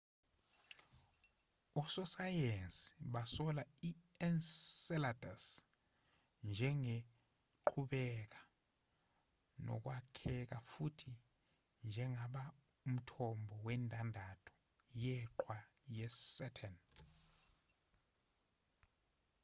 ososayensi basola i-enceladus njengeqhubeka nokwakheka futhi njengaba umthombo wendandatho yeqhwa yesaturn